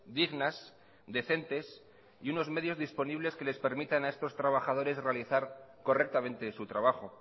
dignas decentes y unos medios disponibles que les permita a estos trabajadores realizar correctamente su trabajo